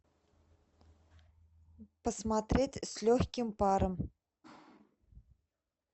посмотреть с легким паром